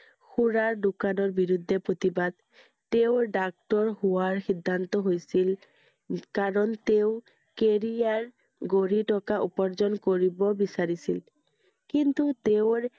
সুৰাৰ দোকানৰ বিৰুদ্ধে প্ৰতিবাদ, তেওঁৰ doctor হোৱাৰ সিদ্ধান্ত হৈছিল, কাৰণ তেওঁ career গঢ়ি থকা উপাৰ্জন কৰিব বিচাৰিছিল। কিন্তু তেওঁৰ